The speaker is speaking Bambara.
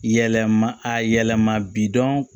Yɛlɛma a yɛlɛma bidɔn